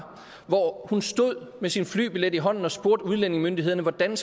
hvor hun stod med sin flybillet i hånden og spurgte udlændingemyndighederne hvordan